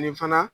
Nin fana